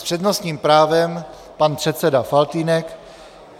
S přednostním právem pan předseda Faltýnek.